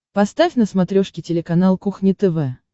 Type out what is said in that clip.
поставь на смотрешке телеканал кухня тв